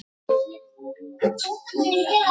Hrein bleia